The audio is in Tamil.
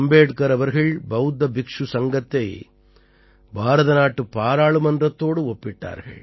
அம்பேட்கர் அவர்கள் பௌத்த பிக்ஷு சங்கத்தை பாரதநாட்டுப் பாராளுமன்றத்தோடு ஒப்பிட்டார்கள்